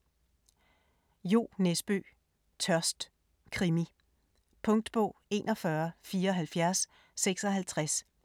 5. Nesbø, Jo: Tørst: krimi Punktbog 417456